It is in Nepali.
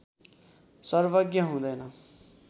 सर्वज्ञ हुँदैन